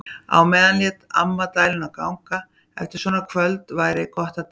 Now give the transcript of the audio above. Á meðan lét amma dæluna ganga: Eftir svona kvöld væri gott að deyja.